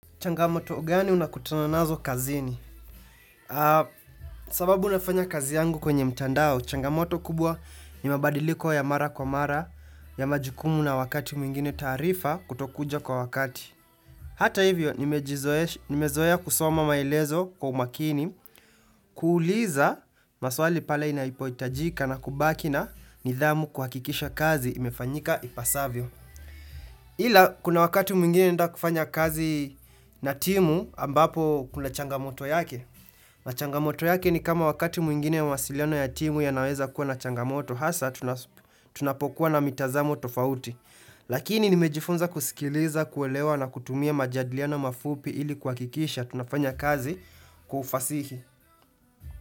Changamoto, gani unakutana nazo kazini? Sababu nafanya kazi yangu kwenye mtandao, changamoto kubwa ni mabadiliko ya mara kwa mara ya majukumu na wakati mwingine taarifa kutokuja kwa wakati. Hata hivyo, nimejizoesha nimezoea kusoma maelezo kwa umakini, kuuliza maswali pale inaipoitajika na kubaki na nidhamu kuhakikisha kazi imefanyika ipasavyo. Ila kuna wakati mwingine naenda kufanya kazi na timu ambapo kuna changamoto yake na changamoto yake ni kama wakati mwingine mawasiliano ya timu yanaweza kuwa na changamoto hasa tunapokuwa na mitazamo tofauti Lakini nimejifunza kusikiliza, kuelewa na kutumia majadiliano mafupi ili kuhakikisha tunafanya kazi kwa ufasihi.